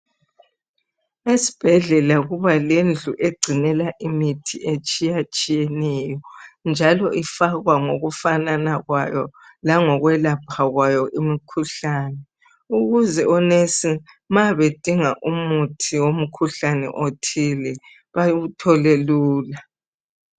Esibhedlela kuba lendlu egcinela imithi etshiyatshiyeneyo, njalo ifakwa ngokufanana kwayo langokwelapha kwayo imkhuhlane, ukuze onesi ma bedinga umuthi womkhuhlane othile bawuthole lula.